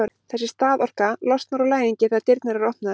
þessi staðorka losnar úr læðingi þegar dyrnar eru opnaðar